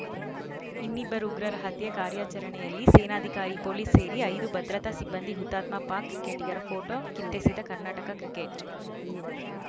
ಇನ್ನಿಬ್ಬರು ಉಗ್ರರ ಹತ್ಯೆ ಕಾರ್ಯಚರಣೆಯಲ್ಲಿ ಸೇನಾಧಿಕಾರಿ ಪೊಲೀಸ್‌ ಸೇರಿ ಐದು ಭದ್ರತಾ ಸಿಬ್ಬಂದಿ ಹುತಾತ್ಮ ಪಾಕ್‌ ಕ್ರಿಕೆಟಿಗರ ಫೋಟೋ ಕಿತ್ತೆಸೆದ ಕರ್ನಾಟಕ ಕ್ರಿಕೆಟ್‌